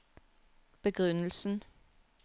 begrunnelsen